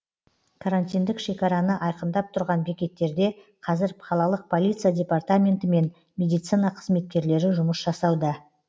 карантиндік шекараны айқындап тұрған бекеттерде қазір қалалық полиция департаменті мен медицина қызметкерлері жұмыс жасауда